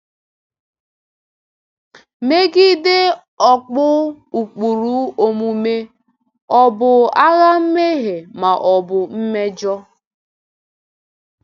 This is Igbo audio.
“Megide ọ̀kpù ụkpụrụ omume ọ̀ bụ agha mmehie ma ọ bụ mmejọ?”